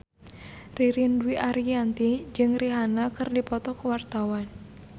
Ririn Dwi Ariyanti jeung Rihanna keur dipoto ku wartawan